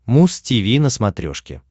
муз тиви на смотрешке